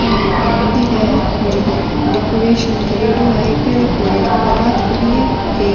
यो एक मंदिर है जिको डेकोरेशन करेड़ो है इ पर और एक परात पड़ी है एक --